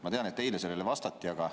Ma tean, et eile sellele vastati, aga ...